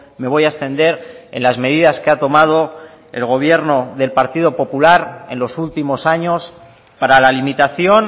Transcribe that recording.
me voy a extender en las medidas que ha tomado el gobierno del partido popular en los últimos años para la limitación